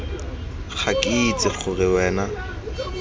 ga ke itse gore wena